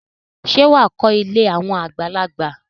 Ṣé wà á kọ́ ilé àwọn àgbàlagbà?